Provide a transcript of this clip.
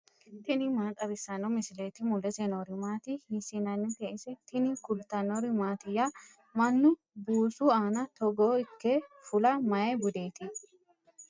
tini maa xawissanno misileeti ? mulese noori maati ? hiissinannite ise ? tini kultannori mattiya? mannu buusu aanna togo ikke fula mayi budeetti?